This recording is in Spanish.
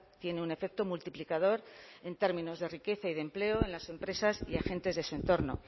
tiene un efecto multiplicador en términos de riqueza y de empleo en las empresas y agentes de su entorno